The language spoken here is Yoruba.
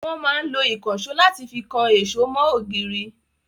Wọn máa ń lo ìkansò láti fi kan èṣó mọ ògiri